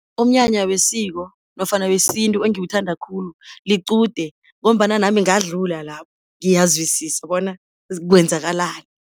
Umnyanya wesiko, nofana wesintu engiwuthanda khulu liqude, ngombana nami ngadlula lapho, ngiyazwisisa bona kwenzakalani.